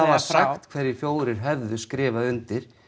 var sagt hverjir fjórir hefðu skrifað undir